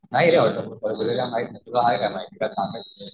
नाही रे कॉलेज काही माहिती नाही